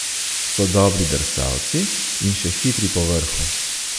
So dobri drsalci in še hitri povrhu.